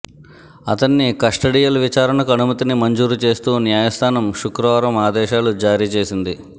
అతన్ని కస్టడియల్ విచారణకు అనుమతిని మంజూరు చేస్తూ న్యాయస్థానం శుక్రవారం ఆదేశాలు జారీచేసింది